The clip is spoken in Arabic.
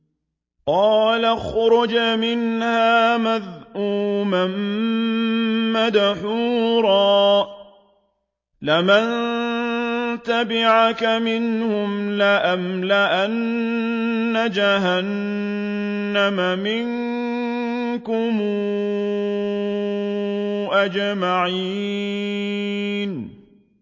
قَالَ اخْرُجْ مِنْهَا مَذْءُومًا مَّدْحُورًا ۖ لَّمَن تَبِعَكَ مِنْهُمْ لَأَمْلَأَنَّ جَهَنَّمَ مِنكُمْ أَجْمَعِينَ